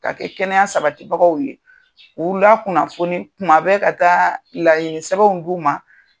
Ka kɛ kɛnɛya sabatibagaw ye, k'ula kunnafoni kuma bɛ ka taa laɲini sɛbɛnw d' u ma.